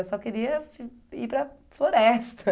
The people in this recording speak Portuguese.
Eu só queria ir para a floresta.